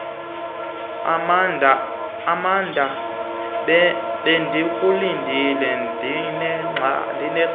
amanda bendikulindile ndinexhala